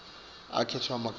kukhetfwe emagama